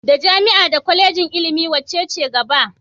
Da jami'a da Kwalejin ilimi wacce ce gaba?